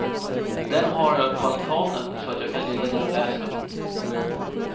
Den har jag på altanen så att jag kan ligga där och läsa.